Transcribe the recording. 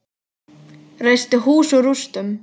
Reisti hús úr rústum.